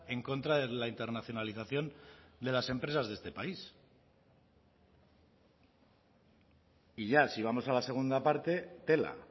en contra de la internacionalización de las empresas de este país y ya si vamos a la segunda parte tela